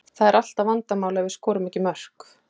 Það er alltaf vandamál ef við skorum ekki mörk.